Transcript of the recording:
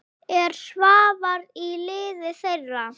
Er Svavar í liði þeirra?